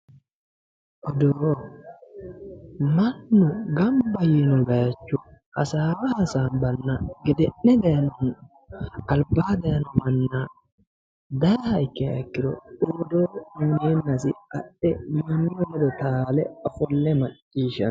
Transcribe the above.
Odoo. mannu gamba yino baayiicho hasaawa hasaanbanna gede'ne daayiino manchi albaa daayiino manna daayiiha ikkiha ikkiro odoo uuyiineennasi adhe mannu ledo taale ofolle macciishshanno.